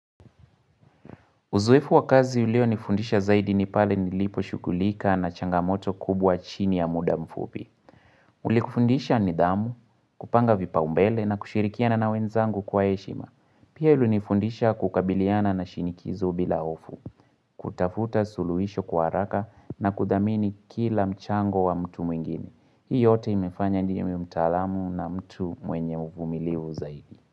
Uzoefu wa kazi ulionifundisha zaidi ni pale nilipo shughulika na changamoto kubwa chini ya muda mfupi. Ulikufundisha nidhamu, kupanga vipaumbele na kushirikiana na wenzangu kwa heshima. Pia ulinifundisha kukabiliana na shinikizo bila hofu, kutafuta suluhisho kwa haraka na kudhamini kila mchango wa mtu mwingine. Hii yote imefanya niwe mtaalamu na mtu mwenye uvumilivu zaidi.